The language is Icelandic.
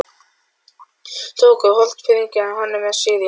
Tóku Hornfirðingar hann með sér í land.